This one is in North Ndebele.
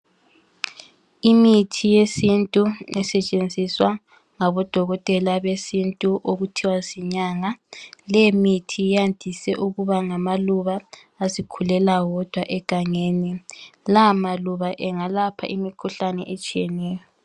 Imithi yesintu esetshenziswa ngabodokotela besintu okuthiwa zinyanga. Leyimithi yandise ukuba ngamaluba azikhulela wodwa egangeni. La maluba engalapha imikhuhlane etshiyeneyo.